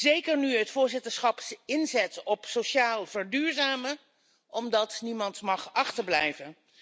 Zeker nu het voorzitterschap inzet op sociaal verduurzamen, omdat niemand mag achterblijven.